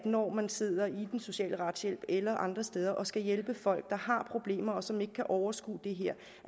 når man sidder i den sociale retshjælp eller andre steder og skal hjælpe folk der har problemer og som ikke kan overskue det her